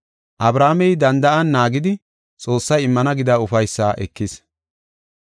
Abrahaamey danda7an naagidi Xoossay immana gida ufaysaa ekis.